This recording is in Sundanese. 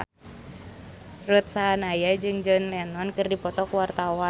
Ruth Sahanaya jeung John Lennon keur dipoto ku wartawan